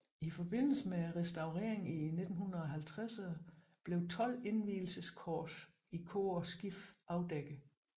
I forbindelse med restaureringen i 1950erne blev tolv indvielseskors i kor og skib afdækket